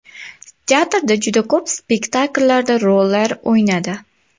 Teatrda juda ko‘p spektakllarda rollar o‘ynadi.